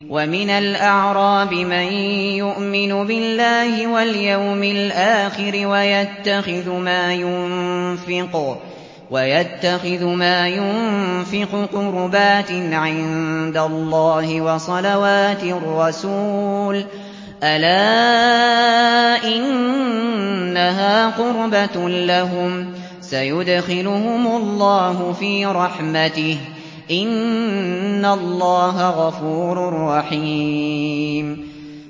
وَمِنَ الْأَعْرَابِ مَن يُؤْمِنُ بِاللَّهِ وَالْيَوْمِ الْآخِرِ وَيَتَّخِذُ مَا يُنفِقُ قُرُبَاتٍ عِندَ اللَّهِ وَصَلَوَاتِ الرَّسُولِ ۚ أَلَا إِنَّهَا قُرْبَةٌ لَّهُمْ ۚ سَيُدْخِلُهُمُ اللَّهُ فِي رَحْمَتِهِ ۗ إِنَّ اللَّهَ غَفُورٌ رَّحِيمٌ